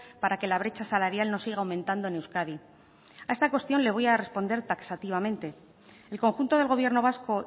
para que la brecha salarial no siga aumentando en euskadi a esta cuestión le voy a responder taxativamente el conjunto del gobierno vasco